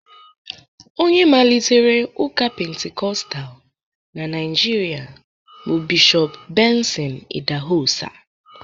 onye malitere ụka penticostal na Naijiria bụ Bishọp Benson idahosa